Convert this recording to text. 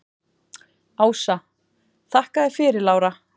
Ása: Þakka þér fyrir Lára.